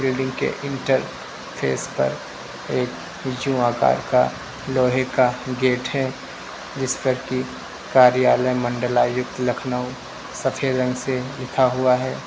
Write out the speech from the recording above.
Building के interface पर एक यु आकार का लोहे का गेट है जिस पर की कार्यालय मंडलायुक्त लखनऊ सफेद रंग से लिखा हुआ है।